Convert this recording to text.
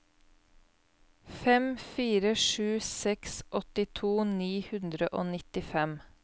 fem fire sju seks åttito ni hundre og nittifem